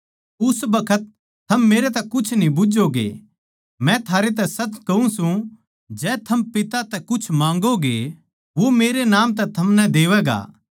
उस बखत थम मेरतै कुछ न्ही बुझ्झोगे मै थारैतै सच कहूँ सूं जै थम पिता तै कुछ माँगोगे तो वो मेरै नाम तै थमनै देवैगा